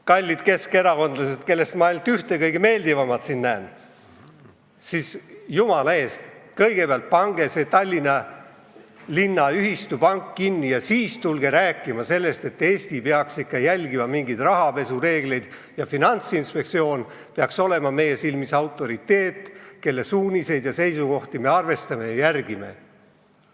Kallid keskerakondlased, kellest ma siin näen ainult ühte, kõige meeldivamat, jumala eest, kõigepealt pange see Tallinna linna ühistupank kinni ja siis tulge rääkima sellest, et Eesti peaks ikka järgima mingeid rahapesuvastaseid reegleid ja Finantsinspektsioon peaks olema meie silmis autoriteet, kelle suuniseid ja seisukohti me arvestame ja järgime.